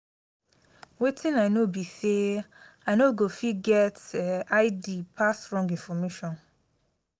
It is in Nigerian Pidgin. wetin i no be say i no go fit get .i d pass wrong information